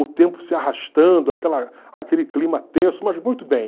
O tempo se arrastando, aquela aquele clima tenso, mas muito bem.